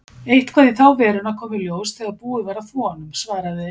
Eitthvað í þá veruna kom í ljós þegar búið var að þvo honum, svaraði